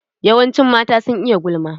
Yawancin mata sun iya gulma.